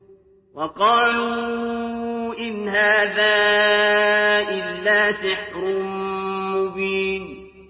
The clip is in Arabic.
وَقَالُوا إِنْ هَٰذَا إِلَّا سِحْرٌ مُّبِينٌ